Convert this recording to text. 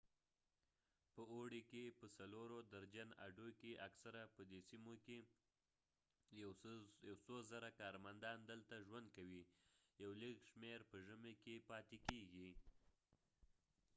په اوړې کې په څلورو درجن اډو کې اکثره په دې سیمو کې یو څو زره کارمندان دلته ژوند کوي یو لږ شمیر په ژمي کې پاتې کیږئ